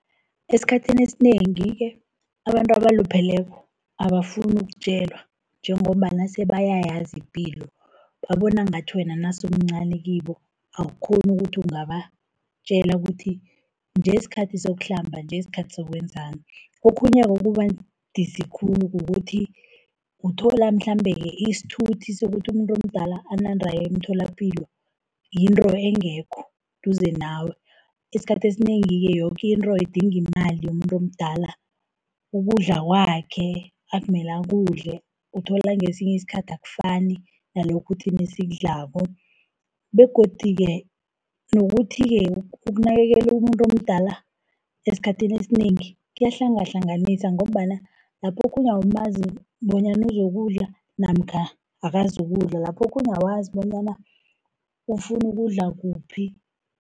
Esikhathini esinengi-ke abantu abalupheleko abafuni ukutjelwa, njengombana sebayayazi ipilo. Babona ngathi wena nase umncani kibo awukghoni ukuthi ungabatjela ukuthi nje sikhathi sokuhlamba, nje sikhathi sokwenzani. Okhunye okuba budisi khulu kukuthi uthola mhlambe-ke isithuthi sokuthi umuntu omdala anande aye emtholapilo yinto engekho eduze nawe. Isikhathi esinengi-ke yoke into idinga imali yomuntu omdala, ukudla kwakhe akumela kudle. Uthola ngesinye isikhathi akufani nalokhu thina esikudlako, begodu-ke nokuthi-ke ukunakekela umuntu omdala esikhathini esinengi kuyahlangahlanganisa, ngombana lapho okhunye awumazi bonyana uzokudlala, namkha akazukudla, lapho okhunye awazi bonyana ufunu ukudla kuphi.